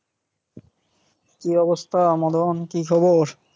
কি অবস্থা মদন, কি খবর?